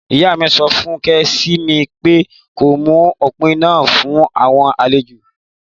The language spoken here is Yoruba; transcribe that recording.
Ìyá mi sọfún ṣikẹmi pe kó mú òpúnà fun awọn àléjò.